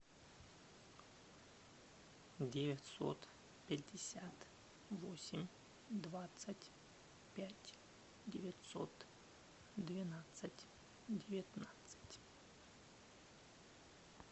девятьсот пятьдесят восемь двадцать пять девятьсот двенадцать девятнадцать